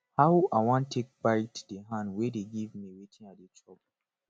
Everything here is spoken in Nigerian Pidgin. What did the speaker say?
how i wan take bite the hand wey dey give me wetin i dey chop